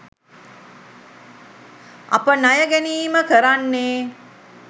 අප ණය ගැනීම කරන්නේ